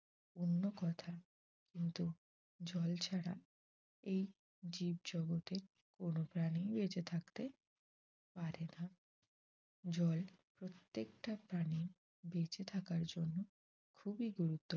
কিন্তু জল ছাড়া এই জীব জগতে কোনো প্রাণী বেচে থাকতে পারে না্ জল প্রত্যেকটা প্রাণীর বেচে থাকার জন্য খুবই গুরুত্ব